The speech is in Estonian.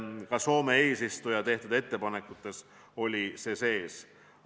Ka Soome kui eesistuja tehtud ettepanekutes oli see sees.